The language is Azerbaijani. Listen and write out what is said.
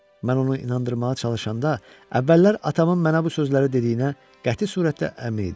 Mən onu inandırmağa çalışanda, əvvəllər atamın mənə bu sözləri dediyinə qəti surətdə əmin idim.